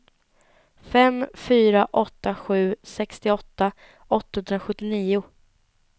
fem fyra åtta sju sextioåtta åttahundrasjuttionio